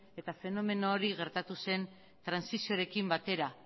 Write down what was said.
eta fenomeno hori gertatu zen trantsizioarekin batera